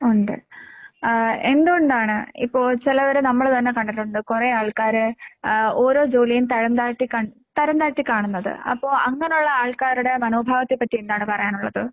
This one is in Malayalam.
ഒണ്ട്. അഹ് എന്തുകൊണ്ടാണ് ഇപ്പൊ ചെലവരെ നമ്മള് തന്നെ കണ്ടട്ടൊണ്ട് കൊറേ ആൾക്കാര് ആഹ് ഓരോ ജോലിയും തരംതാഴ്ത്തി കൺ തരംതാഴ്ത്തിക്കാണുന്നത്. അപ്പൊ അങ്ങനൊള്ള ആൾക്കാരുടെ മനോഭാവത്തെപ്പറ്റി എന്താണ് പറയാനൊള്ളത്?